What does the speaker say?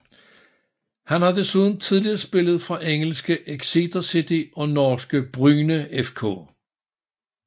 Han har desuden tidligere spillet for engelske Exeter City og norske Bryne FK